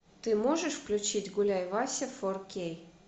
ты можешь включить гуляй вася фор кей